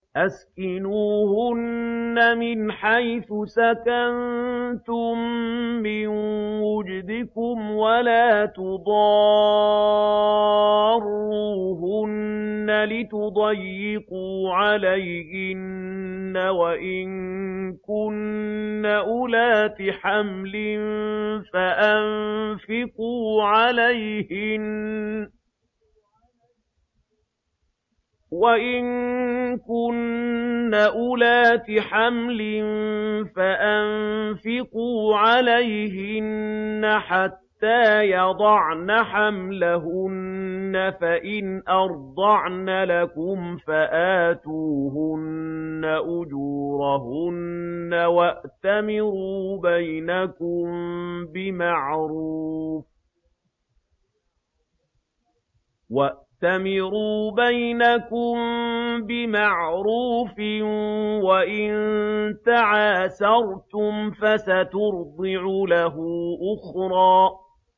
أَسْكِنُوهُنَّ مِنْ حَيْثُ سَكَنتُم مِّن وُجْدِكُمْ وَلَا تُضَارُّوهُنَّ لِتُضَيِّقُوا عَلَيْهِنَّ ۚ وَإِن كُنَّ أُولَاتِ حَمْلٍ فَأَنفِقُوا عَلَيْهِنَّ حَتَّىٰ يَضَعْنَ حَمْلَهُنَّ ۚ فَإِنْ أَرْضَعْنَ لَكُمْ فَآتُوهُنَّ أُجُورَهُنَّ ۖ وَأْتَمِرُوا بَيْنَكُم بِمَعْرُوفٍ ۖ وَإِن تَعَاسَرْتُمْ فَسَتُرْضِعُ لَهُ أُخْرَىٰ